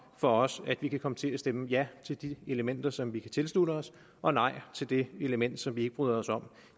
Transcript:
for os om at vi kan komme til at stemme ja til de elementer som vi kan tilslutte os og nej til det element som vi ikke bryder os om